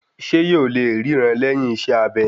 Ṣé yóò lè ríran lẹ́yìn iṣẹ́ abẹ